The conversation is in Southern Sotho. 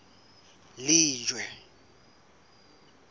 lejwe